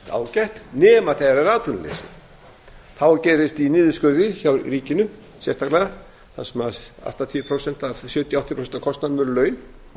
ágætt nema þegar er atvinnuleysi þá gerist í niðurskurði hjá ríkinu sérstaklega þar sem sjötíu til áttatíu prósent af kostnaðinum eru laun